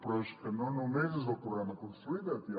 però és que no només és el programa consolida’t